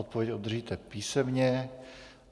Odpověď obdržíte písemně.